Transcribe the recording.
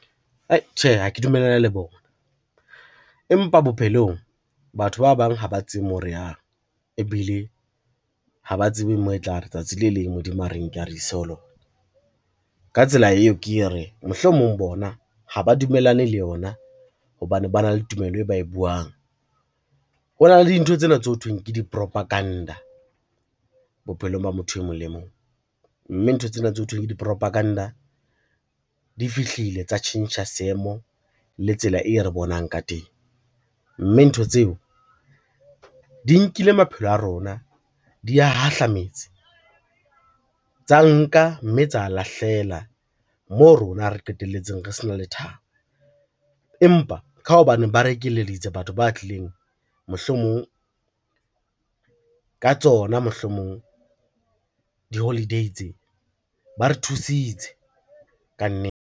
Ai tjhe, ha ke dumellane le bona. Empa bophelong batho ba bang ha ba tsebe moo re yang ebile ha ba tsebe moo e tlare tsatsi le leng Modimo a re nke a re ise ho lona. Ka tsela eo, ke re mohlomong bona ha ba dumellane le yona hobane ba na le tumelo e ba e buang, ho na le dintho tsena tse ho thweng ke di-propaganda bophelong ba motho e mong le mong, mme ntho tsena tse ho thweng ke di-propaganda di fihlile tsa tjhentjha seemo le tsela e re bonang ka teng, mme ntho tseo di nkile maphelo a rona di ya hahlametse tsa nka, mme tsa lahlela moo rona re qetelletseng re se na lethabo, empa ka hobaneng ba re ekeleditse batho ba tlileng mohlomong ka tsona mohlomong di-holiday tse, ba re thusitse ka nnete.